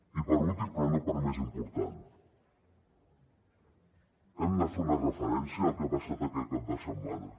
i per últim però no per menys important hem de fer una referència al que ha passat aquest cap de setmana